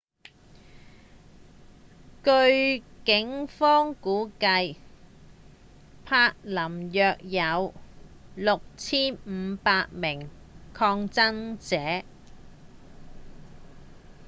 據警方估計柏林約有 6,500 名抗議者